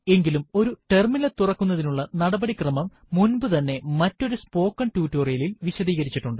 എങ്കിലും ഒരു ടെർമിനൽ തുറക്കുന്നതിനുള്ള നടപടിക്രമം മുൻപുതന്നെ മറ്റൊരു സ്പോക്കൺ ടുടോരിയലിൽ വിശദീകരിചിട്ടുണ്ട്